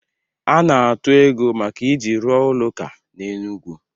A na-atụ ego maka iji rụọ ụlọ ụka na Enugwu